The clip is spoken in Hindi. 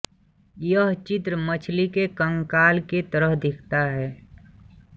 यह चित्र मछलि के कंकाल के तरह दिखता है